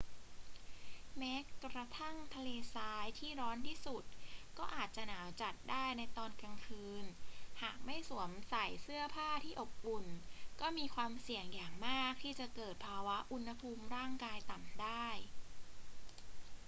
แม้กระทั่งทะเลทรายที่ร้อนที่สุดก็อาจหนาวจัดได้ในตอนกลางคืน หากไม่สวมใส่เสื้อผ้าที่อบอุ่นก็มีความเสี่ยงอย่างมากที่จะเกิดภาวะอุณหภูมิร่างกายต่ำได้